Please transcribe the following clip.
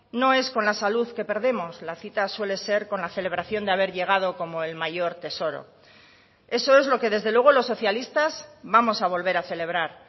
no es con la salud que perdemos la cita suele ser con la celebración de haber llegado como el mayor tesoro eso es lo que desde luego los socialistas vamos a volver a celebrar